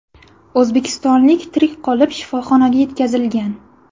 O‘zbekistonlik tirik qolib, shifoxonaga yetkazilgan.